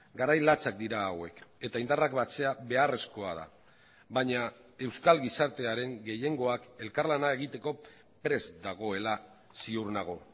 garai latzak dira hauek eta indarrak batzea beharrezkoa da baina euskal gizartearen gehiengoak elkarlana egiteko prest dagoela ziur nago